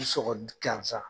I gansan.